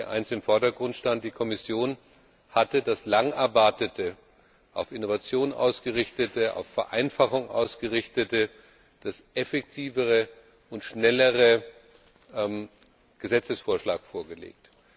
eines im Vordergrund stand Die Kommission hatte den lange erwarteten, auf Innovation ausgerichteten, auf Vereinfachung ausgerichteten, den effektiveren und schnelleren Gesetzesvorschlag vorgelegt.